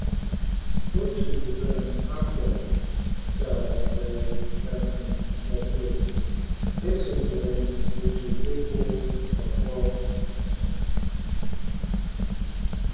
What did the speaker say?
Otu um afọ ka e um mesịrị, esonyere m òtù ịkụ ọkpọ.